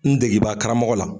N degebaa karamɔgɔ la.